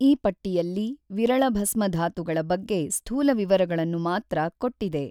ಈ ಪಟ್ಟಿಯಲ್ಲಿ ವಿರಳಭಸ್ಮಧಾತುಗಳ ಬಗ್ಗೆ ಸ್ಥೂಲ ವಿವರಗಳನ್ನು ಮಾತ್ರ ಕೊಟ್ಟಿದೆ.